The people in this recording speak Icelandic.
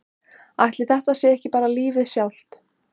Ætli þetta sé ekki bara lífið sjálft?